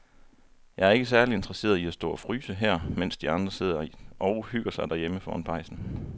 Jeg er ikke særlig interesseret i at stå og fryse her, mens de andre sidder og hygger sig derhjemme foran pejsen.